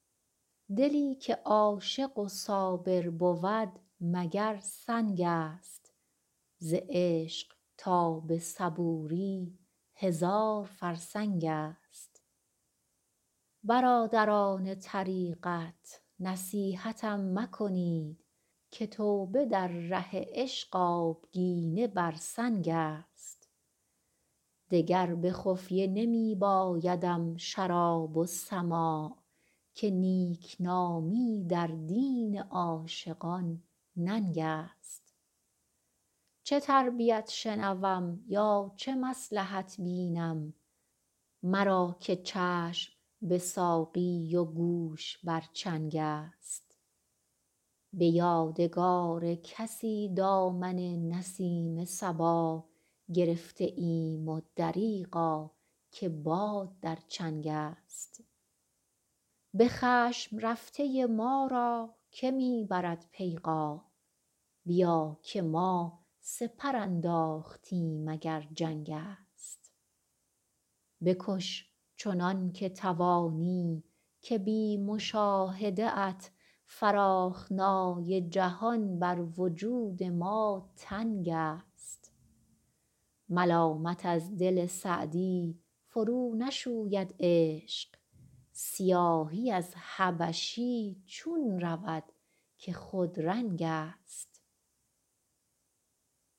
دلی که عاشق و صابر بود مگر سنگ است ز عشق تا به صبوری هزار فرسنگ است برادران طریقت نصیحتم مکنید که توبه در ره عشق آبگینه بر سنگ است دگر به خفیه نمی بایدم شراب و سماع که نیکنامی در دین عاشقان ننگ است چه تربیت شنوم یا چه مصلحت بینم مرا که چشم به ساقی و گوش بر چنگ است به یادگار کسی دامن نسیم صبا گرفته ایم و دریغا که باد در چنگ است به خشم رفته ما را که می برد پیغام بیا که ما سپر انداختیم اگر جنگ است بکش چنان که توانی که بی مشاهده ات فراخنای جهان بر وجود ما تنگ است ملامت از دل سعدی فرونشوید عشق سیاهی از حبشی چون رود که خودرنگ است